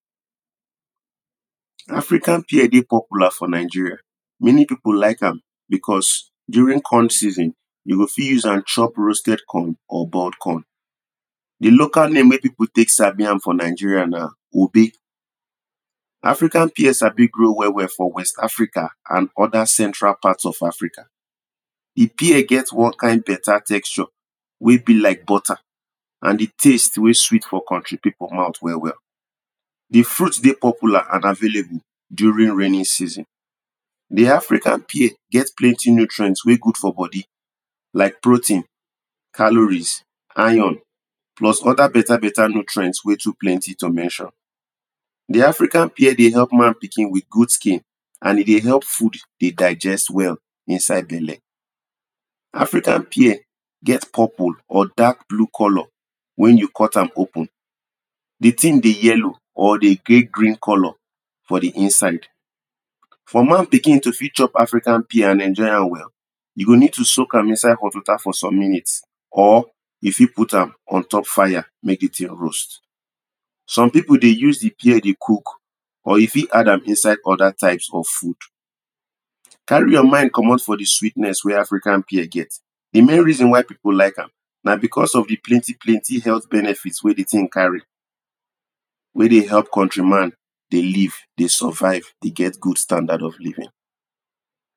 African pear dey popular for Nigeria, many people like am because during corn season, you go fit use am chop roasted corn or boiled corn. Di local name wen people take sabi am for Nigeria na; ube. African pear sabi grow well well for west African and other central parts of Africa. Di pear get one kind better texture wey be like butter, and di taste wey sweet for country people mouth well well. di fruit dey popular and available during raining season, di African pear get plenty nutrient wey good for body like, protein, calories, iron plus other better better nutrient wey too plenty to mention. Di African pear dey help man pikin with good skin and e dey help food dey digest well inside belle. African pear get purple or dark blue colour. wen you cut am open di thing dey yellow or dey get green for di inside. for man pikin to fit chop African pear and enjoy am well, you go need to soak am for inside hot water for some minutes, Or you fit put untop fire make di thing roast. Some people dey use di pear dey cook or you fit add am inside some other types of food. Carry your mind komot for di sweetness wey African pear get, di main reason why people like am na because of di plenty plenty health benefit wen di thing carry. wen dey help country man dey live, dey survive, dey get good standard of living.